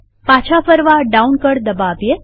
પાછા ફરવા ડાઉન કળ દબાવીએ